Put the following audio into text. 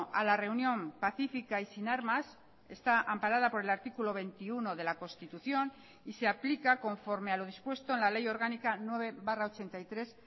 a la reunión pacífica y sin armas está amparada por el artículo veintiuno de la constitución y se aplica conforme a lo dispuesto en la ley orgánica nueve barra ochenta y tres